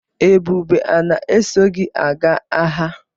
Ebube a na-eso gi aga agha?